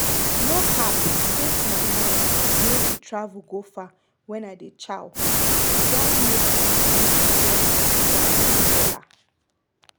no cap since my mind nor dey travel go far wen i dey chew e don make me enjoy wak wella